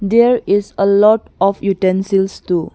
There is a lot of utensils too.